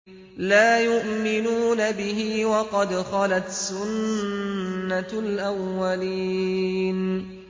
لَا يُؤْمِنُونَ بِهِ ۖ وَقَدْ خَلَتْ سُنَّةُ الْأَوَّلِينَ